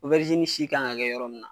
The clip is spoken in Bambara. si kan ka kɛ yɔrɔ min na,